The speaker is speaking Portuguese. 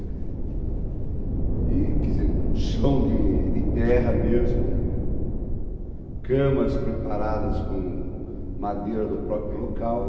E, quer dizer, chão de de terra mesmo, camas preparadas com madeira do próprio local.